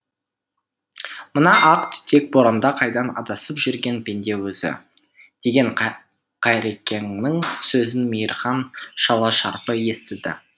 мына ақ түтек боранда қайдан адасып жүрген пенде өзі деген қайрекеңнің сөзін мейірхан шала шарпы естіді